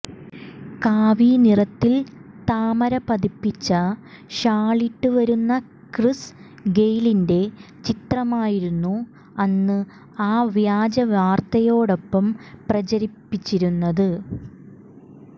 കാവി നിറത്തിൽ താമര പതിപ്പിച്ച ഷാളിട്ട് വരുന്ന ക്രിസ് ഗെയിലിന്റെ ചിത്രമായിരുന്നു അന്ന് ആ വ്യാജ വാർത്തയോടൊപ്പെ പ്രചരിച്ചിരുന്നത്